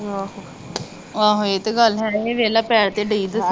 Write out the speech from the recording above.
ਆਹੋ ਆਹੋ ਇਹ ਤਾ ਗੱਲ ਹੈ ਇਹ ਵੇਖਲਾ ਪੈਰ ਤੇ ਦਈ ਦਸਣ।